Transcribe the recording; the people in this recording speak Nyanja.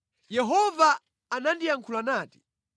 Yehova anandiyankhula nati: